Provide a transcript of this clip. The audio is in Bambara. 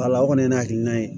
Wala o kɔni ye hakilina ye